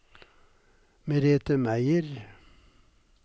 Merethe Meyer